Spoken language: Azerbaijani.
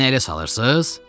Məni elə salırsız?